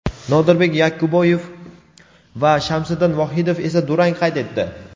Nodirbek Yakubboyev va Shamsiddin Vohidov esa durang qayd etdi.